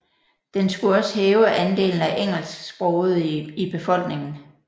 Den skulle også hæve andelen af engelsksprogede i befolkningen